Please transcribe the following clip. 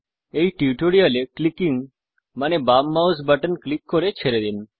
এই টিউটোরিয়াল এ ক্লিকিং মানে বাম মাউস বাটন ক্লিক করে ছেড়ে দিন